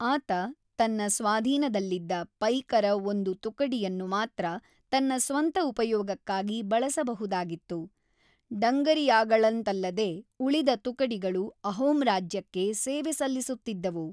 ಆತ ತನ್ನ ಸ್ವಾಧೀನದಲ್ಲಿದ್ದ ಪೈಕರ ಒಂದು ತುಕಡಿಯನ್ನು ಮಾತ್ರ ತನ್ನ ಸ್ವಂತ ಉಪಯೋಗಕ್ಕಾಗಿ ಬಳಸಬಹುದಾಗಿತ್ತು -ಡಂಗರಿಯಾಗಳಂತಲ್ಲದೇ- ಉಳಿದ ತುಕಡಿಗಳು ಅಹೋಮ್ ರಾಜ್ಯಕ್ಕೆ ಸೇವೆ ಸಲ್ಲಿಸುತ್ತಿದ್ದವು.